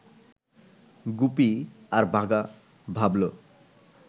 গুপি আর বাঘা ভাবল